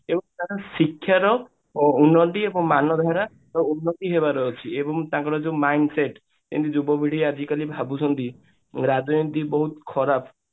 ଏବଂ ତାର ଶିକ୍ଷାର ଉନ୍ନତି ଏବଂ ମାନଧାରା ଏବଂ ଉନ୍ନତି ହେବାର ଅଛି ଏବଂ ତାଙ୍କର ଯୋଉ mind set ମାନେ ଯୁବପିଢୀ ଆଜିକାଲି ଭାବୁଛନ୍ତି ରାଜନୀତି ବହୁତ ଖରାପ